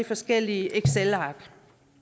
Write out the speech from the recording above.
forskellige excelark